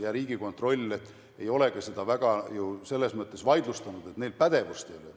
Ja Riigikontroll ei ole seda ka selles mõttes vaidlustanud, et neil pädevust ei ole.